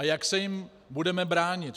A jak se jim budeme bránit?